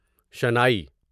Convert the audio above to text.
shehnai Sanai